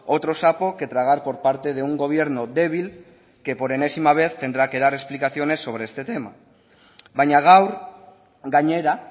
otro sapo que tragar por parte de un gobierno débil que por enésima vez tendrá que dar explicaciones sobre este tema baina gaur gainera